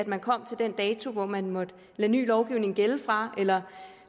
man kom til den dato hvor man måtte lade ny lovgivning gælde fra eller